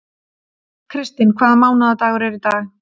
Kristinn, hvaða mánaðardagur er í dag?